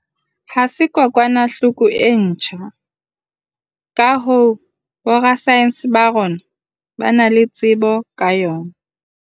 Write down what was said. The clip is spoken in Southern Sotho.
ha se kokwanahloko e ntjha, ka hoo, borasaense ba rona ba na le tsebo ka yona.